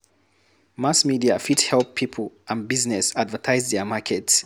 Mass media fit help pipo and business advertise their market